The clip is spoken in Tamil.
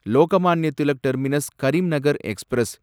Lokmanya Tilak terminus Karimnagar express